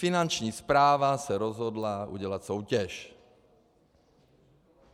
Finanční správa se rozhodla udělat soutěž.